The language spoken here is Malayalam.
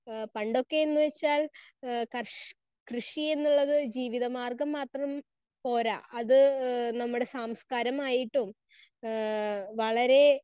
സ്പീക്കർ 1 ആഹ് പണ്ടൊക്കെ എന്നുവെച്ചാൽ ആഹ് കർ കൃഷി എന്നുള്ളത് ജീവിതമാർഗം മാത്രം പോര അത് നമ്മുടെ സംസ്കാരമായിട്ടും ആഹ് വളരെ